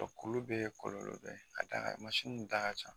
kulu bɛ yen kɔlɔlɔ bɛ yen k'a d'a kan mansin da ka ca.